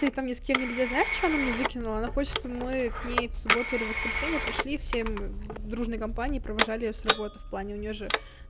ты там ни с кем нельзя знаешь что она мне выкинула она хочет чтобы мы к ней в субботу или воскресенье пришли всем дружной компанией провожали её с работы в плане у неё же